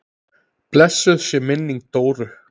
Blessuð sé minning Dóru.